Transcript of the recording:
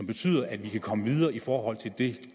betyder at vi kan komme videre i forhold til de